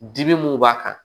Dimi mun b'a kan